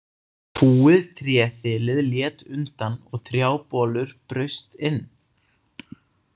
Fúið tréþilið lét undan og trjábolur braust inn.